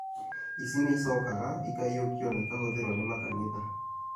ici nĩicokaga ikaiyũkio na kũhũthirwo nĩ makanitha